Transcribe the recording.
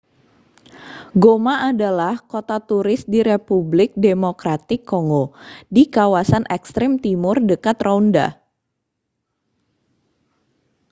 goma adalah kota turis di republik demokratik kongo di kawasan ekstrem timur dekat rwanda